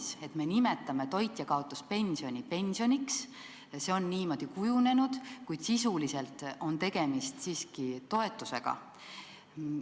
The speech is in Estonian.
See, et me nimetame toitjakaotuspensioni pensioniks, on niimoodi kujunenud, kuid sisuliselt on tegemist siiski toetusega.